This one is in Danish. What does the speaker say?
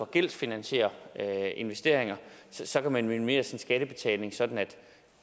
gældsfinansierer investeringer så kan man minimere sin skattebetaling sådan at vi